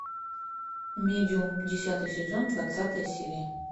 медиум десятый сезон двадцатая серия